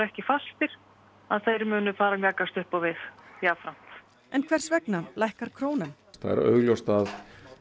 ekki fastir að þeir munu fara að mjakast upp á við jafnframt en hvers vegna lækkar krónan það er augljóst að